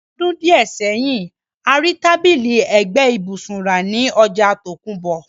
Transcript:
Ní àwon odún díẹ̀ sẹ́hin, a ri tábìlì ẹ́gbẹ ibùsùn ra ni ojà tòkunbọ̀